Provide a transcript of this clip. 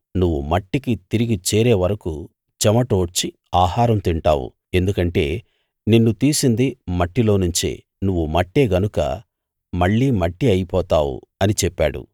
నువ్వు మట్టికి తిరిగి చేరే వరకూ చెమటోడ్చి ఆహారం తింటావు ఎందుకంటే నిన్ను తీసింది మట్టిలోనుంచే నువ్వు మట్టే గనుక మళ్ళీ మట్టి అయిపోతావు అని చెప్పాడు